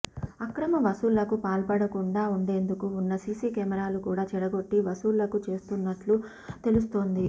అక్రమ వసూళ్లకు పాల్పడుకుండా ఉండేందుకు ఉన్న సిసి కెమెరాలు కూడా చెడగొట్టి వసూళ్లకు చేస్తున్నట్లు తెలుస్తోంది